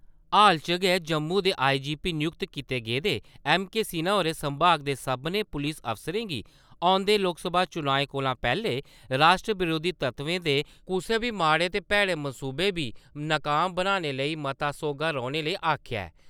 हाल च गै जम्मू दे आई.जी.पी नियुक्त कीते गेदे ऐम्म.के. सिन्हा होरें संभाग दे सभनें पुलस अफसरें गी औंदे लोकसभा चुनाएं कोला पैह्‌ले राश्ट्र बरोधी तत्वें दे कुसै बी माड़े ते भैड़े मंसूबें गी नकाम बनाने लेई मता सौह्गा रौह्‌ने लेई आक्खेआ ऐ।